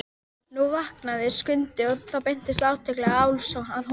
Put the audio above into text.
Nú vaknaði Skundi og þá beindist athygli Álfs að honum.